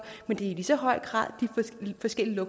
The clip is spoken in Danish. men i lige så høj grad er de forskellige